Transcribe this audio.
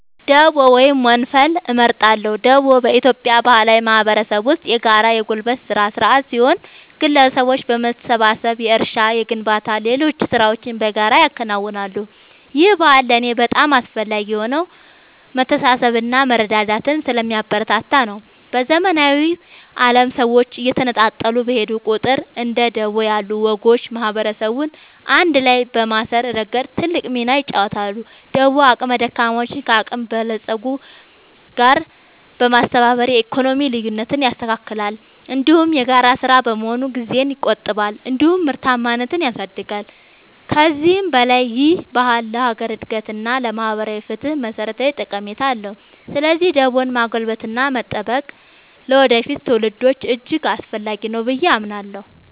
ደቦ ወይም ወንፈል እመርጣለሁ። ደቦ በኢትዮጵያ ባህላዊ ማህበረሰብ ውስጥ የጋራ የጉልበት ሥራ ሥርዓት ሲሆን፣ ግለሰቦች በመሰባሰብ የእርሻ፣ የግንባታና ሌሎች ሥራዎችን በጋራ ያከናውናሉ። ይህ ባህል ለእኔ በጣም አስፈላጊ የሆነው መተሳሰብንና መረዳዳትን ስለሚያበረታታ ነው። በዘመናዊው ዓለም ሰዎች እየተነጣጠሉ በሄዱ ቁጥር፣ እንደ ደቦ ያሉ ወጎች ማህበረሰብን አንድ ላይ በማሰር ረገድ ትልቅ ሚና ይጫወታሉ። ደቦ አቅመ ደካሞችን ከአቅመ በለጾች ጋር በማስተባበር የኢኮኖሚ ልዩነትን ያስተካክላል፤ እንዲሁም የጋራ ሥራ በመሆኑ ጊዜን ይቆጥባል እንዲሁም ምርታማነትን ያሳድጋል። ከዚህም በላይ ይህ ባህል ለሀገር አንድነት እና ለማህበራዊ ፍትህ መሠረታዊ ጠቀሜታ አለው። ስለዚህ ደቦን ማጎልበትና መጠበቅ ለወደፊት ትውልዶች እጅግ አስፈላጊ ነው ብዬ አምናለሁ።